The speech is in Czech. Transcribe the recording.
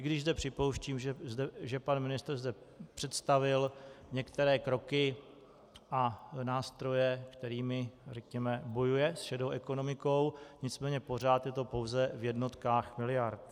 I když zde připouštím, že pan ministr zde představil některé kroky a nástroje, kterými, řekněme, bojuje s šedou ekonomikou, nicméně pořád je to pouze v jednotkách miliard.